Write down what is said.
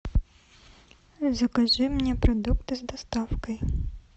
закажи мне продукты с доставкой